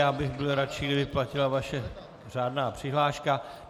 Já bych byl radši, kdyby platila vaše řádná přihláška.